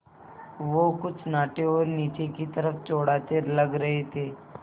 वो कुछ नाटे और नीचे की तरफ़ चौड़ाते लग रहे थे